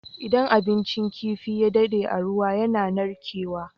Idan abincin kifi ya dade a ruwa yAna narke wa